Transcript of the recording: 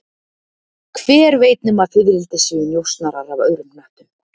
Hver veit nema fiðrildi séu njósnarar af öðrum hnöttum